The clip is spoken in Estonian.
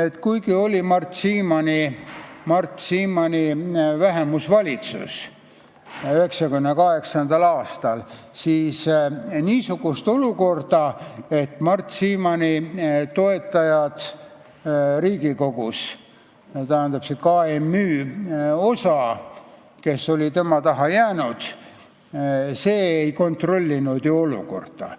et kuigi 1998. aastal oli võimul Mart Siimanni vähemusvalitsus, siis Mart Siimanni toetajad Riigikogus, st see KMÜ osa, kes oli tema taha jäänud, ei kontrollinud ju olukorda.